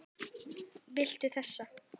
Viltu þessa?